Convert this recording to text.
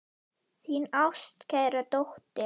Þín ástkæra dóttir.